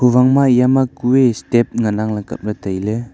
huwang ma eya ma kue step ngan ang le kaple taile.